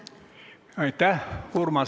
Aitäh!